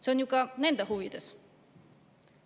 See on ju ka nende huvides.